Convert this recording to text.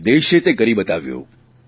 અને દેશે તે કરી બતાવ્યું